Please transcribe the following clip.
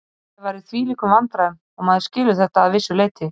Félagið var í þvílíkum vandræðum og maður skilur þetta að vissu leyti.